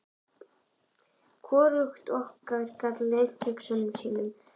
Hvorugt okkar gat leynt hugsunum sínum fyrir hinu.